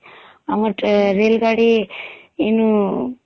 ଆମର ରେଳଗାଡ଼ି ଇନୁ ..